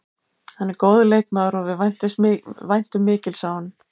Hann er góður leikmaður og við væntum mikils af honum.